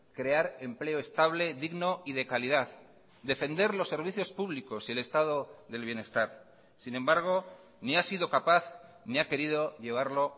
crear empleo estable digno y de calidad defender los servicios públicos y el estado del bienestar sin embargo ni ha sido capaz ni ha querido llevarlo